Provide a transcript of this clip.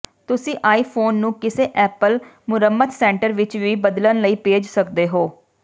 ਤੁਸੀਂ ਆਈਫ਼ੋਨ ਨੂੰ ਕਿਸੇ ਐਪਲ ਮੁਰੰਮਤ ਸੈਂਟਰ ਵਿੱਚ ਵੀ ਬਦਲਣ ਲਈ ਭੇਜ ਸਕਦੇ ਹੋ